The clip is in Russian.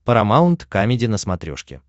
парамаунт камеди на смотрешке